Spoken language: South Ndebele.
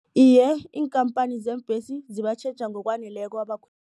Iye, iinkhamphani zeembhesi zibatjheja ngokwaneleko